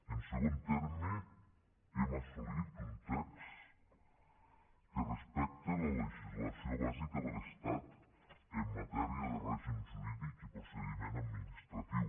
en segon terme hem assolit un text que respecta la legislació bàsica de l’estat en matèria de règim jurídic i procediment administratiu